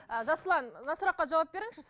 ы жасұлан мына сұраққа жауап беріңізші